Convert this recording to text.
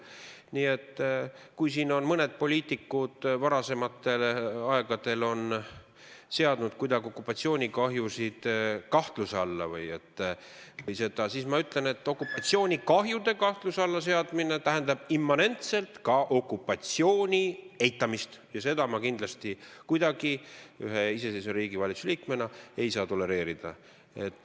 Nii et kui siin mõned poliitikud on varasemal ajal seadnud okupatsioonikahjusid kuidagi kahtluse alla, siis ma ütlen, et okupatsioonikahjude kahtluse alla seadmine tähendab immanentselt ka okupatsiooni eitamist ja seda ma kindlasti kuidagi ühe iseseisva riigi valitsuse liikmena ei saa tolereerida.